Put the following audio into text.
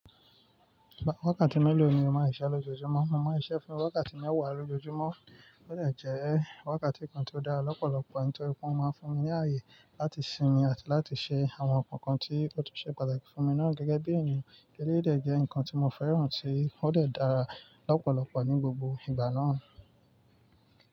Wákàtí mélòó ni o máa ń ṣiṣẹ́ lójoojúmọ́? Mo mọ iṣẹ́ fún wákàtí mẹ́wàá lójoojúmọ́, ó dà jẹ wákàtí kan tí ó dára lọ́pọ̀lọpọ̀ nítorí pé wọ́n máa ń fún mi ní ààyè láti sinmi àti láti ṣe àwọn nǹkan tí ó tu ṣe pàtàkì fún mi náà gẹ́gẹ́ bí èniyàn éléyi dẹ̀ jẹ́ nǹkan tí mo fẹ́ràn tí ó de dàra lọ́pọ̀lọpọ̀ ní gbogbo ìgbà náà.